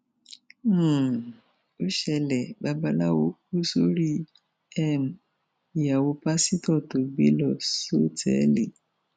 um ó ṣẹlẹ babaláwo kù sórí um ìyàwó pásítọ tó gbé lọ sọtẹẹlì